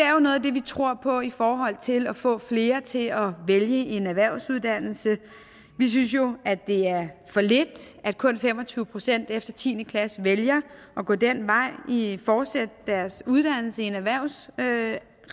er noget af det vi tror på i forhold til at få flere til at vælge en erhvervsuddannelse vi synes jo det er for lidt at kun fem og tyve procent efter tiende klasse vælger at gå den vej hvor de fortsætter deres uddannelse i en erhvervsmæssig